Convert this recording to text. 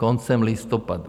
Koncem listopadu!